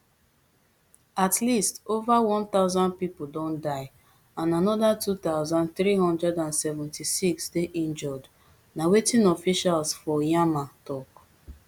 at least ova one thousand pipo don die and anoda two thousand, three hundred and seventy-six dey injured na wetin officials for myanmar tok